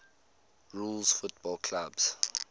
rules football clubs